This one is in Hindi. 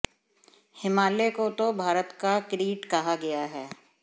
हिमालय को तो भारत का किरीट कहा गया है